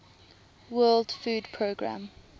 world food programme